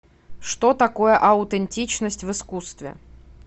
что такое аутентичность в искусстве